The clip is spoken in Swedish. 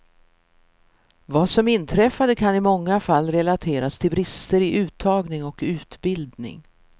Vad som inträffade kan i många fall relateras till brister i uttagning och utbildning.